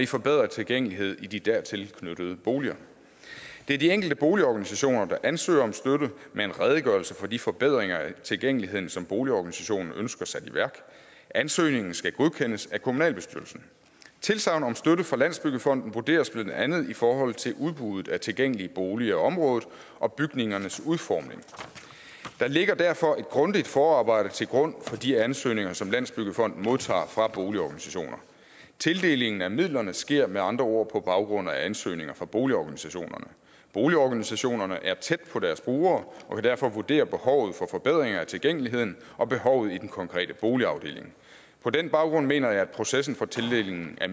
forbedret tilgængelighed i de dertil knyttede boliger det er de enkelte boligorganisationer der ansøger om støtte med en redegørelse for de forbedringer af tilgængeligheden som boligorganisationen ønsker sat i værk ansøgningen skal godkendes af kommunalbestyrelsen tilsagnet om støtte fra landsbyggefonden vurderes blandt andet i forhold til udbuddet af tilgængelige boliger i området og bygningernes udformning der ligger derfor et grundigt forarbejde til grund for de ansøgninger som landsbyggefonden modtager fra boligorganisationerne tildelingen af midlerne sker med andre ord på baggrund af ansøgninger fra boligorganisationerne boligorganisationerne er tæt på deres brugere og kan derfor vurdere behovet for forbedringer af tilgængeligheden og behovet i den konkrete boligafdeling på den baggrund mener jeg at processen for tildelingen af